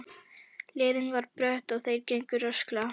Leiðin var brött og þeir gengu rösklega.